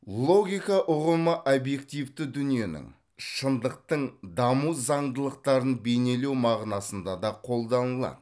логика ұғымы объективті дүниенің шындықтың даму заңдылықтарын бейнелеу мағынасында да қолданылады